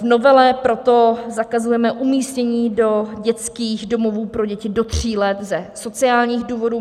V novele proto zakazujeme umístění do dětských domovů pro děti do tří let ze sociálních důvodů.